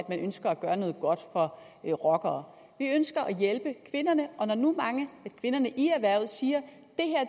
at man ønsker at gøre noget godt for rockere vi ønsker at hjælpe kvinderne og når nu mange af kvinderne i erhvervet siger